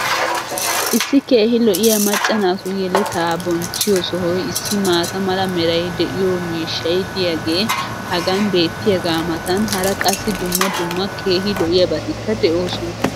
Issi keehi lo'iya macca naatu yeletaa bonchchiyo sohoy issi maata mala meray de'iyo miishshay diyaagee hagan beetiyaagaa matan hara qassi dumma dumma keehi lo'iyaabatikka de'oosona.